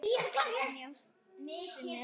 En ég stilli mig.